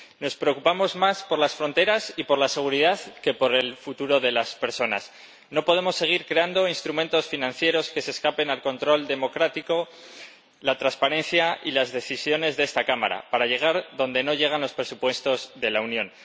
Nos preocupamos más por las fronteras y por la seguridad que por el futuro de las personas. No podemos seguir creando instrumentos financieros que se escapen al control democrático, la transparencia y las decisiones de esta Cámara, para llegar donde no llegan los presupuestos de la Unión.